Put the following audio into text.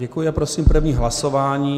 Děkuji a prosím první hlasování.